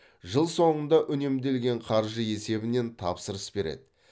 жыл соңында үнемделген қаржы есебінен тапсырыс береді